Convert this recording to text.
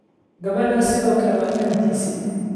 Gabadhaasi sidoo kale waa inantiisii